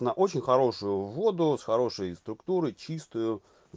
на очень хорошую воду с хорошей структурой чистую